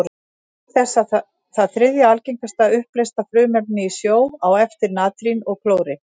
Auk þess er það þriðja algengasta uppleysta frumefnið í sjó, á eftir natríni og klóri.